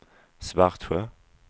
Svartsjö